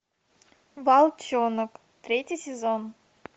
волчонок третий сезон